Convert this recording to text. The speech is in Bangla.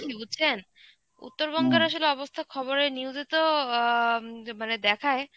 বুঝছেন? উত্তরবঙ্গের আসলে অবস্থা খবরে news এ তো অ্যাঁ যে মানে দেখায়.